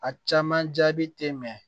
A caman jaabi tɛ mɛ